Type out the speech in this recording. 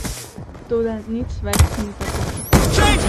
Toda nič več ni tako.